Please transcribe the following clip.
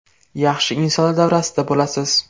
Yaxshi insonlar davrasida bo‘lasiz.